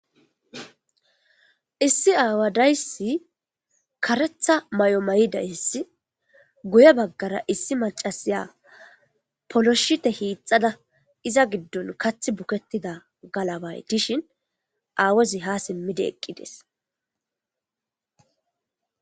Issi aawadayssi karetha may7o may7idayssi guye baggara issi macasiya poloshite hiixxada iza giddon kath bukettida galabay dishin aawozi ha simmidi eqqides.